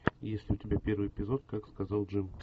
есть ли у тебя первый эпизод как сказал джим